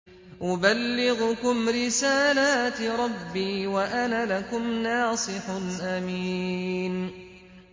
أُبَلِّغُكُمْ رِسَالَاتِ رَبِّي وَأَنَا لَكُمْ نَاصِحٌ أَمِينٌ